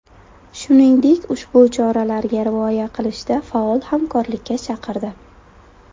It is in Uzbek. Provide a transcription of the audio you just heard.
Shuningdek, ushbu choralarga rioya qilishda faol hamkorlikka chaqirdi.